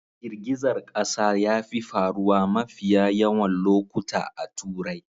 Girgizar kasa yafi faruwa mafiya yawan lokuta a Turai.